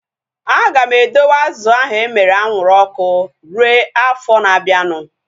Aga m edowe azụ ahu emere anwụrụ ọkụ rue afọ na abianu